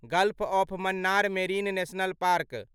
gulf of Mannar Marine National park